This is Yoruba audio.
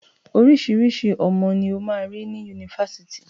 Oríṣiriṣí ọmọ ni o máa rí ni Yunifásitì.